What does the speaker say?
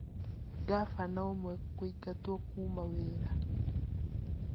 Ngabana ũmwe kũingatwo kuma wĩra